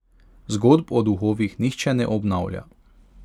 Zgodb o duhovih nihče ne obnavlja.